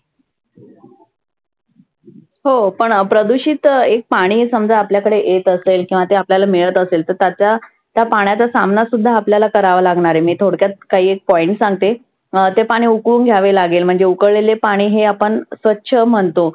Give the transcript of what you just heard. हो पण प्रदुषीत एक पाणी समजा आपल्याकदे येत असेल तर ते आपल्याला मिळत असेल तर त्याचा, त्या पाण्याचा सामना सुद्धा आपल्याला करावा लागणार आहे. मी थोडक्या काही एक point सांगते. अं ते पाणि उकळून घ्यावे लागेल म्हणजे उकळलेले पाणि हे आपण स्वच्छ